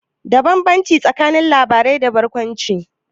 Bambance tsakanin labarai da barkwanci.